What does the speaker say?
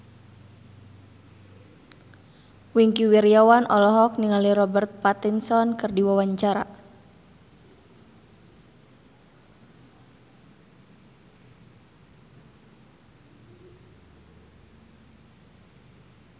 Wingky Wiryawan olohok ningali Robert Pattinson keur diwawancara